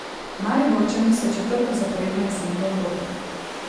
Mariborčani so četrto zaporedno jesen v Evropi.